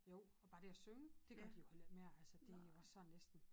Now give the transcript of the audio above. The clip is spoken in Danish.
Jo og bare det at synge det gør de jo heller ikke mere altså det jo også sådan næsten